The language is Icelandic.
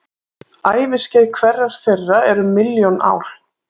Æviskeið hverrar þeirra er um milljón ár.